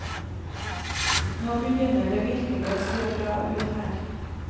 Nå begynner det virkelig å se bra ut her.